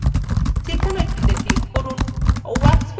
যেকোনো একটিতে click করুন